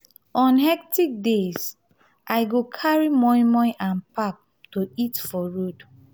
on hectic days i go carry moi moi and pap to eat for road.